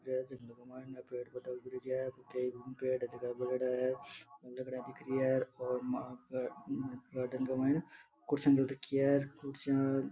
मायने पेड़ पौधा उग रखा है गार्डन के मायने कुर्सियां घाल रखी है कुर्सियां --